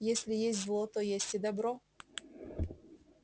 если есть зло то есть и добро